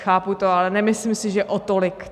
Chápu to, ale nemyslím si, že o tolik.